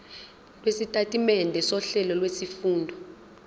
lwesitatimende sohlelo lwezifundo